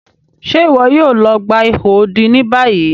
Ṣe iwọ yoo lọ gba iho odi ni bayi?